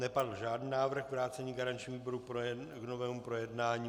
Nepadl žádný návrh vrácení garančnímu výboru k novému projednání.